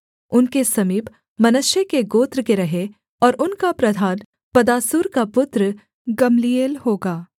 उनके समीप मनश्शे के गोत्र के रहें और उनका प्रधान पदासूर का पुत्र गम्लीएल होगा